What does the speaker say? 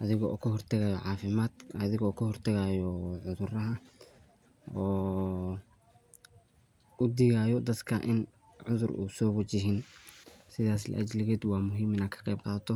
adigo kahortaqayo cafimaad, adigo kahortagayo cudhuraha oo udigayo daadka in cudhuur uu so wajihi sidhaas laa ajiliqeed waa muhiim in aad kaqeb qadhato.